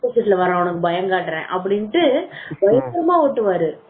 opposite வர்றவனுக்கு பயம் காட்றேன் அப்படின்னுடு பயங்கரமா ஓட்டுவாரு